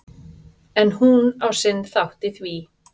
En hún á sinn þátt í því.